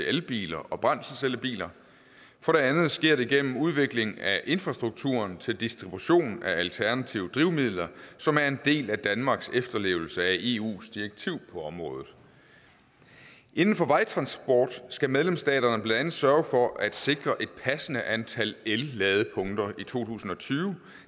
elbiler og brændselscellebiler for det andet sker det gennem udvikling af infrastruktur til distribution af alternative drivmidler som er en del af danmarks efterlevelse af eus direktiv på området inden for vejtransport skal medlemsstaterne blandt andet sørge for at sikre et passende antal elladepunkter i to tusind og tyve